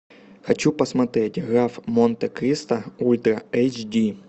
хочу посмотреть граф монте кристо ультра эйч ди